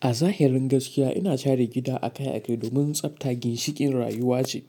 A zahirin gaskiya, ina share gida akai-akai domin tsafta ginshiƙin rayuwa ce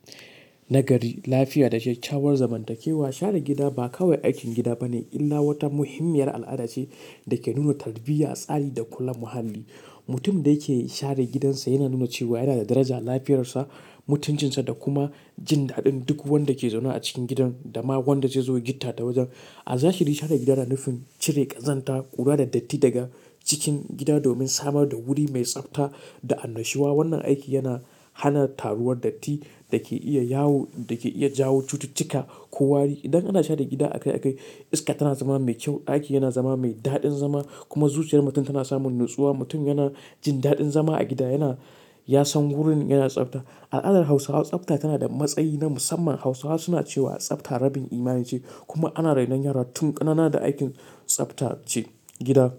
nagari, lafiya da kyakkyawar zamantakewa. Share gida ba kawai aikin gida ba ne, illa wata muhimmiyar al'ada ce da ke nuna tarbiyya, tsari da kula muhalli. Mutum da yake share gidansa yana nuna cewa yana da daraja lafiyar sa, mutuncinsa da kuma jin daɗin duk wanda ke zaune a cikin gidan da ma wanda zai zo yi gitta da wajen. A zahiri, share gida na nufin cire ƙazanta, ƙura da datti daga cikin gida domin samar da wuri mai tsafta da annashuwa. Wannan aiki yana hana taruwar datti da ke iya yawo, da ke iya jawo cututtuka ko wari. Idan ana share gida akai-akai, iska tana zama mai kyau, ɗaki yana zama mai daɗin zama kuma zuciyar mutum tana samun natsuwa. Mutum yana jin daɗin zama a gida, yana, ya san wurin yana tsafta. Al'adar Hausawa tsafta tana da matsayi na musamman. Hausawa suna cewa tsafta rabin imani ce kuma ana rainon yara tun ƙanana da aikin tsafta ce gida.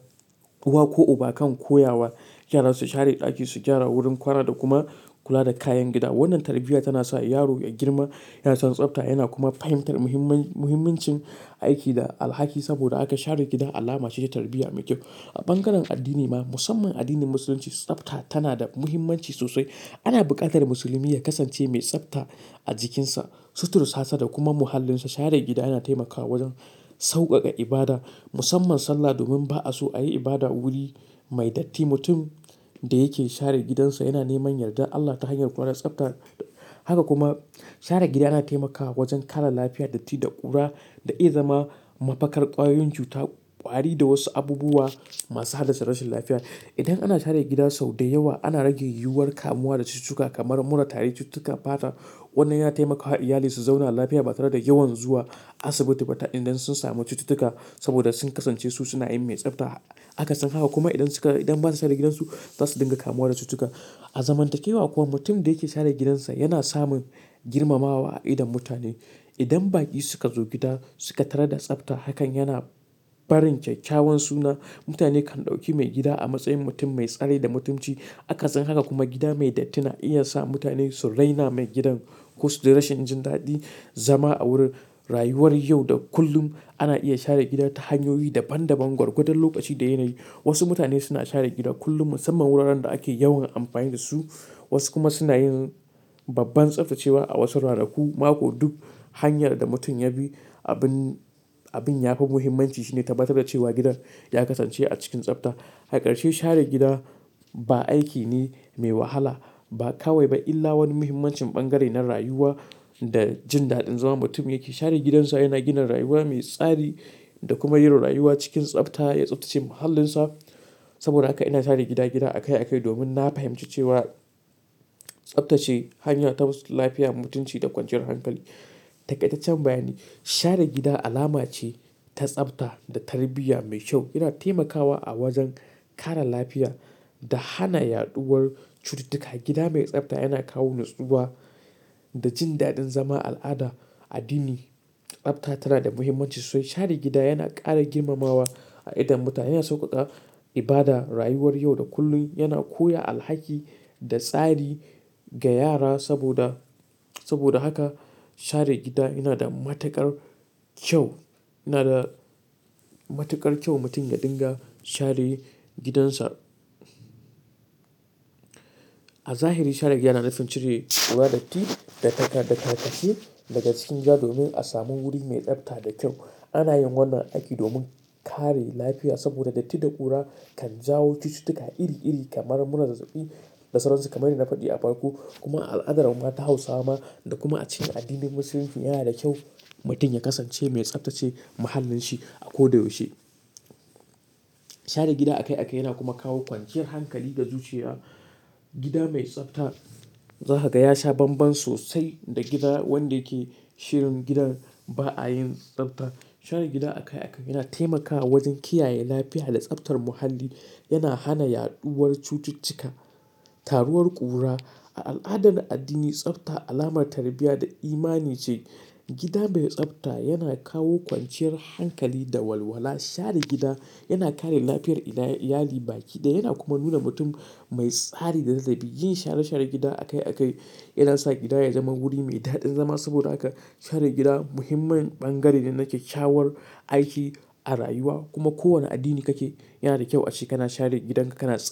Uwa ko uba kan koya wa yara su share ɗaki, su gyara wurin kwana da kuma kula da kayan gida. Wannan tarbiyya tana sa yaro ya girma yana son tsafta yana kuma fahimtar muhimmin, muhimmancin aiki da alhaki. Saboda haka share gida alama ce ta tarbiyya mai kyau. A bangaren addini ma, musamman addinin Musulunci, tsafta tana da muhimmanci sosai. Ana buƙatar musulmi ya kasance mai tsafta a jikinsa, suturansa da kuma muhallinsa. Share gida yana taimakawa wajen sauƙaƙa ibada musamman sallah, domin ba'a so a yi ibada a wuri mai datti. Mutum da yake share gidansa yana neman yardar Allah ta hanyar kula da tsafta. Haka kuma share gida yana taimakawa wajen kare lafiya, datti da ƙura da iya zama mafakar ƙwayoyin cuta, ƙwari da wasu abubuwa masu halasta rashin lafiya. Idan ana share gida sau da yawa, ana rage yiwuwar kamuwa da cututtuka kamar mura, tari, cututtuka fata. Wannan yana taimakawa iyali su zauna lafiya ba tare da yawan zuwa asibiti ba ta idan sun samu cututtuka saboda sun kasance su suna yin mai tsafta. Akasin haka kuma idan suka, idan ba su share gidansu, za su dinga kamuwa da cututtuka. A zamantakewa kuwa, mutum da yake share gidansa yana samun girmamawa a idon mutane. Idan baƙi suka zo gida suka tarar da tsafta, hakan yana barin kyakkyawan suna. Mutane kan ɗauki mai gida a matsayin mutum mai tsari da mutunci. Akasin haka kuma gida mai datti na iya sa mutane su raina mai gidan. Kosuji rashin jin daɗin zama a wurin. Rayuwar yau da kullum ana iya share gida ta hanyoyi daban daban, garkuɗan lokaci da yanayi. Wasu mutane suna share gida kullum musamman wuraren da ake yawan amfani da su, wasu kuma suna yin babban tsaftacewa a wasu ranaku, mako duk. Hanyar da mutum ya bi, abin, abin ya fi muhimmanci shine tabbatar da cewa gidan ya kasance a cikin tsafta. Akarshe share gida ba aiki ne mai wahala ba kawai ba illa wani muhimmancin bangare na rayuwa da jin daɗin zama. Mutum yake share gidansa yana gina rayuwa mai tsari da kuma yaro rayuwa cikin tsafta ya tsaftace muhallinsa. Saboda haka ina share gida gida akai-akai domin na fahimci cewa tsaftace hanya ta musu lafiya, mutunci da kwanciyar hankali. Dakaitaccen bayani, share gida alama ce ta tsafta da tarbiyya mai kyau. Ina taimakawa a wajen kare lafiya da hana yaɗuwar cututtuka. Gida mai tsafta yana kawo natsuwa da jin daɗin zama. Al'ada, addini, tsafta tana da muhimmanci sosai. Share gida yana ƙara girmamawa a idon mutane, yana sauƙaƙa ibada, rayuwar yau da kullum, yana koya alhaki da tsari ga yara. Saboda, saboda haka share gida yana da matuƙar kyau. Yana da matuƙar kyau mutum ya dinga share gidansa. A zahiri share gida yana nufin cire ƙura, datti da takar, da tarkace daga cikin gida domin a samu wuri mai tsafta da kyau. Ana yin wannan aiki domin kare lafiya saboda datti da ƙura kan jawo cututtuka iri iri kamar mura, zazzabi, lasararsa kamar na faɗi a farko kuma al'adar mata Hausawa ma da kuma a cikin addinin Musulunci yana da kyau mutum ya kasance mai tsaftace muhallin shi a ko da yaushe. Share gida akai-akai yana kuma kawo kwanciyar hankali da zuciya. Gida mai tsafta za ka ga yasha banban sosai da gida wanda yake shirin gidan ba a yin tsafta. Share gida akai-akai yana taimakawa wajen kiyaye lafiya da tsaftar muhalli. Yana hana yaɗuwar cututtuka, taruwar ƙura. A al'ada da addini, tsafta alamar tarbiyya da imani ce. Gida mai tsafta yana kawo kwanciyar hankali da walwala. Share gida yana kare lafiyar iyali, iyali, baƙi da yana kuma nuna mutum mai tsari da nazari. Yin share share gida akai-akai yana sa gida ya zama wuri mai daɗin zama. Saboda haka share gida muhimmin bangare ne na kyakkyawar aiki a rayuwa. Kuma kowane addini kake, yana da kyau ace kana share gidan ka kana tsafta.